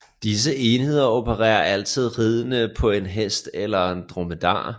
Disse enheder opererer altid ridende på en hest eller dromedar